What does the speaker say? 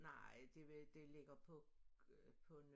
Nej det ved det ligger på på